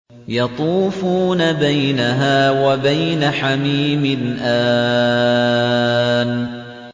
يَطُوفُونَ بَيْنَهَا وَبَيْنَ حَمِيمٍ آنٍ